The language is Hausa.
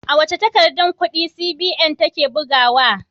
Wace takardar kudi CBN take bugawa?